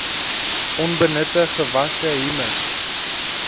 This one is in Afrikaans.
onbenutte gewasse humus